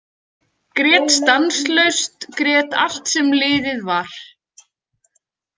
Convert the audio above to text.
Grét stanslaust, grét allt sem liðið var.